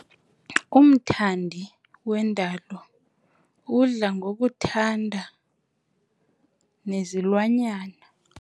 Umthandi wendalo udla ngokuthanda nezilwanyana.